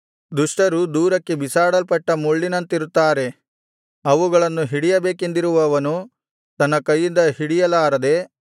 ದುಷ್ಟರು ದೂರಕ್ಕೆ ಬಿಸಾಡಲ್ಪಟ್ಟ ಮುಳ್ಳುಗಳಂತಿರುತ್ತಾರೆ ಅವುಗಳನ್ನು ಹಿಡಿಯಬೇಕೆಂದಿರುವವನು ತನ್ನ ಕೈಯಿಂದ ಹಿಡಿಯಲಾರದೆ